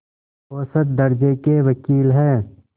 औसत दर्ज़े के वक़ील हैं